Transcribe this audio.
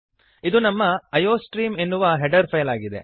ಇದು ನಮ್ಮ ಐಯೋಸ್ಟ್ರೀಮ್ ಎನ್ನುವ ಹೆಡರ್ ಫೈಲ್ ಆಗಿದೆ